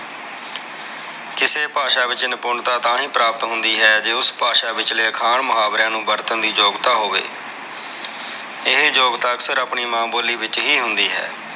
ਕਿਸੇ ਭਾਸ਼ਾ ਵਿਚ ਨਿਪੁੰਨਤਾ ਤਾਹਿ ਪ੍ਰਾਪਤ ਹੁੰਦੀ ਹੈ ਜੇ ਉਸ ਭਾਸ਼ਾ ਵਿਚਲੇ ਅਖਾਣ ਮੁਹਾਵਰਿਆਂ ਨੂੰ ਵਰਤਣ ਦੀ ਯੋਗਤਾ ਹੋਵੇ ਇਹ ਯੋਗਤਾ ਅਕਸਰ ਆਪਣੀ ਮਾਂ ਬੋਲੀ ਵਿਚ ਹੀ ਹੁੰਦੀ ਹੈ।